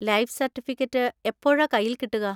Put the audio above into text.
Life certificate എപ്പോഴാ കയ്യിൽ കിട്ടുക?